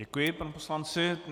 Děkuji panu poslanci.